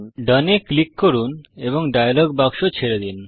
ডোন এ ক্লিক করুন এবং ডায়লগ বাক্স ছেড়ে দিন